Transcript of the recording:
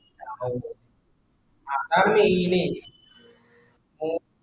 അതാണ് main